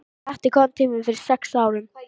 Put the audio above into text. Pjatti kom til mín fyrir sex árum.